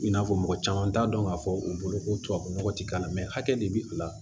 I n'a fɔ mɔgɔ caman t'a dɔn k'a fɔ u bolo ko tubabu nɔgɔ tɛ k'a la hakɛ de bi u la